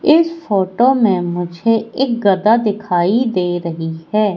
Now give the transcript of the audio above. इस फोटो में मुझे एक गदा दिखाई दे रही है।